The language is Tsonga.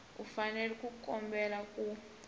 u fanele ku kombela ku